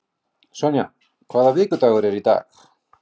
Sonja, hvaða vikudagur er í dag?